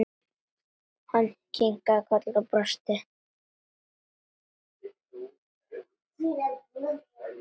Hann kinkaði kolli og brosti.